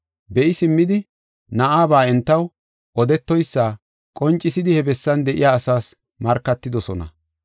Be7i simmidi na7aba entaw odetoysa, qoncisidi he bessan de7iya asaas markatidosona.